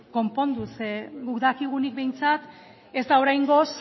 konpondu zeren eta guk dakigunik behintzat ez da oraingoz